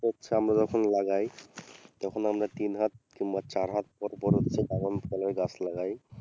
ওর চারা আমরা যখন লাগাই তখন আমরা তিনহাত কিংবা চারহাত বড়ো বড়ো হচ্ছে ড্রাগন ফলের গাছ লাগাই।